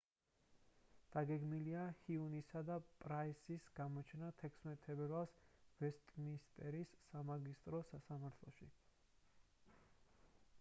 დაგეგმილია ჰიუნისა და პრაისის გამოჩენა 16 თებერვალს ვესტმინსტერის სამაგისტრო სასამართლოში